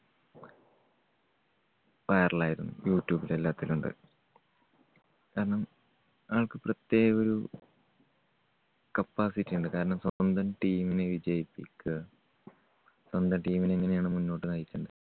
viral ആയിരുന്നു. യൂ ട്യൂബില് എല്ലാത്തിലും ഉണ്ട്. കാരണം ആൾക്ക് പ്രത്യേകം ഒരു capacity ഉണ്ട്. കാരണം സ്വന്തം team നെ വിജയിപ്പിക്കുക. സ്വന്തം team നെ എങ്ങനെയാണ് മുന്നോട്ട് നയിക്കണ്ടത്.